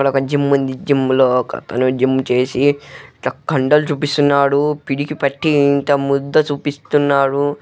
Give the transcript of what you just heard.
ఇక్కడొక జిమ్ ఉంది. జిమ్ లో ఒకతను జిమ్ చేసి కండలు చూపిస్తున్నాడు. పిడికి పట్టి ఇంత ముద్ద చూపిస్తున్నారు.